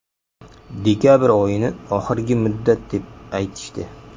Dekabr oyini oxirgi muddat, deb aytishdi.